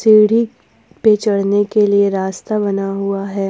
सीढ़ी पे चढ़ने के लिए रास्ता बना हुआ है।